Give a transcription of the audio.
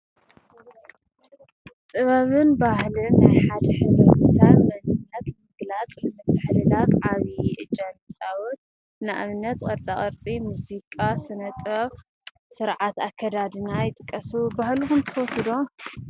ጥበብን ባህልን ናይ ሓደ ሕብረተሰብ መንነት ንምግላፅ ንምትሕልላፍ ዓቢ እጃም ይፃወት፡፡ ንኣብነተ ቅርፃ ቅርፂ፣ ሙዚቃ፣ ስነ ጥበብ፣ ስርዓት ኣከዳድና ይጥቀሱ፡፡ ባህልታት ትፈትዉ ዶ?